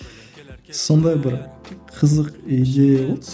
сондай бір қызық идея болды